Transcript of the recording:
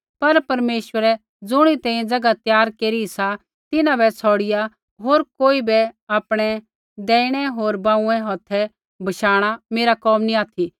पर परमेश्वरै ज़ुणिरी तैंईंयैं ज़ैगा त्यार केरी सा तिन्हां बै छ़ौड़िआ होरी कोई बै आपणै दैहिणै होर बांऊँऐ हौथै बशाणा मेरा कोम नी ऑथि